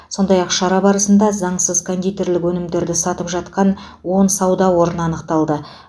сондай ақ шара барысында заңсыз кондитерлік өнімдерді сатып жатқан он сауда орны анықталды